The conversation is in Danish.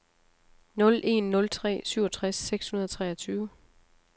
nul en nul tre syvogtres seks hundrede og treogtyve